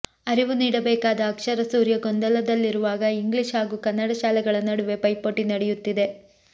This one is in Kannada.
ಅರಿವು ನೀಡಬೇಕಾದ ಅಕ್ಷರ ಸೂರ್ಯ ಗೊಂದಲದಲ್ಲಿರುವಾಗ ಇಂಗ್ಲಿಷ್ ಹಾಗೂ ಕನ್ನಡ ಶಾಲೆಗಳ ನಡುವೆ ಪೈಪೋಟಿ ನಡೆಯುತ್ತಿದೆ